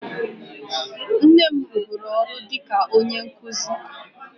Nne m rụburu ọrụ dị ka onye nkụzi